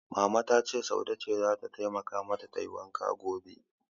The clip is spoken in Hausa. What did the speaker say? Mama ta ce Saude ce zata taimakawa mata tayi wankan gobe.